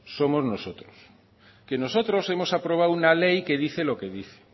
somos nosotros que nosotros hemos aprobado una ley que dice lo que dice